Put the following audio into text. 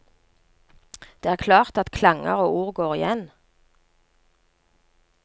Det er klart at klanger og ord går igjen.